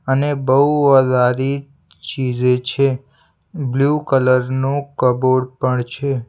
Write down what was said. અને બઉ વધારે ચીજે છે બ્લુ કલર નું કબોર્ડ પણ છે.